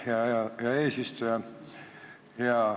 Aitäh, hea eesistuja!